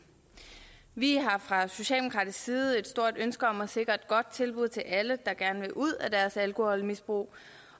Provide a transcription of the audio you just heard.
vi har fra socialdemokratisk side et stort ønske om at sikre et godt tilbud til alle der gerne vil ud af deres alkoholmisbrug